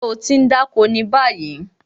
Ṣé o ti ń dá oko ni báyìí?